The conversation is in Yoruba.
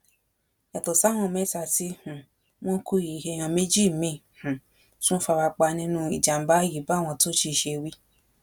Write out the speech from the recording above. yàtọ sáwọn mẹ́ta tí um wọn kú yìí èèyàn méjì míìn um tún fara pa nínú ìjàmàbá yìí báwọn thoji ṣe wí